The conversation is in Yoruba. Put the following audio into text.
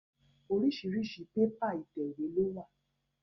Oríṣiríṣi pépà ìtẹ̀wé ló wà